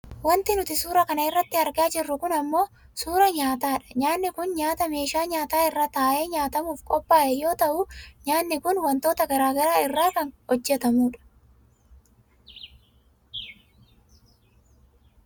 Wanti nuti suuraa kana irratti argaa jirru kun ammoo suuraa nyaataadha. Nyaanni kun nyaata meeshaa nyaataa irra taa'ee nyaatamuuf qophaa'e yoo ta'u nyaanni kun wantoota gara garaa irraa kan hojjatamudha.